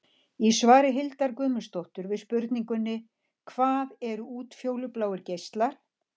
Í svari Hildar Guðmundsdóttur við spurningunni: Hvað eru útfjólubláir geislar?